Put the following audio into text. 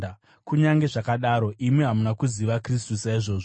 Kunyange zvakadaro, imi hamuna kuziva Kristu saizvozvo.